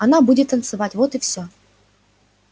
она будет танцевать вот и все